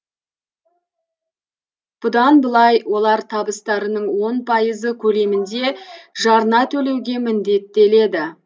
бұдан былай олар табыстарының он пайызы көлемінде жарна төлеуге міндеттеледі